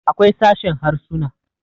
akwai sashen Harsuna